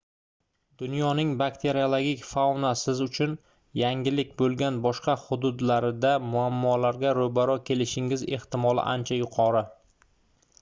dunyoning bakteriologik fauna siz uchun yangilik boʻlgan boshqa hududlarida muammolarga roʻbaroʻ kelishingiz ehtimoli ancha yuqori